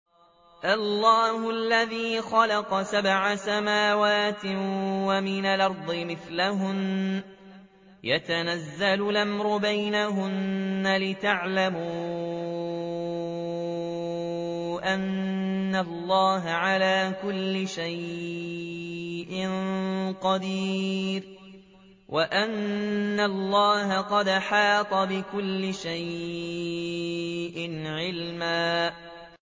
اللَّهُ الَّذِي خَلَقَ سَبْعَ سَمَاوَاتٍ وَمِنَ الْأَرْضِ مِثْلَهُنَّ يَتَنَزَّلُ الْأَمْرُ بَيْنَهُنَّ لِتَعْلَمُوا أَنَّ اللَّهَ عَلَىٰ كُلِّ شَيْءٍ قَدِيرٌ وَأَنَّ اللَّهَ قَدْ أَحَاطَ بِكُلِّ شَيْءٍ عِلْمًا